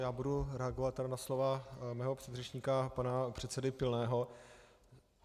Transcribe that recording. Já budu reagovat tady na slova svého předřečníka pana předsedy Pilného.